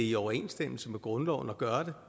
i overensstemmelse med grundloven at gøre det